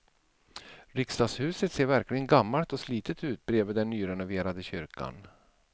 Riksdagshuset ser verkligen gammalt och slitet ut bredvid den nyrenoverade kyrkan.